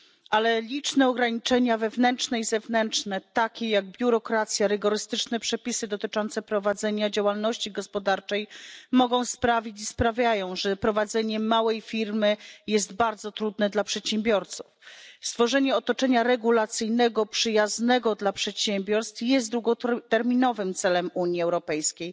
Ale liczne ograniczenia wewnętrzne i zewnętrzne, takie jak biurokracja czy rygorystyczne przepisy dotyczące prowadzenia działalności gospodarczej, mogą sprawić i sprawiają, że prowadzenie małej firmy jest dla przedsiębiorców bardzo trudne. Stworzenie otoczenia regulacyjnego przyjaznego dla przedsiębiorstw jest długoterminowym celem Unii Europejskiej.